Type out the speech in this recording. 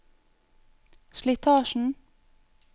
slitasjen